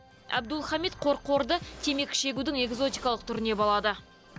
әбдулхамит қорқорды темекі шегудің экзотикалық түріне балады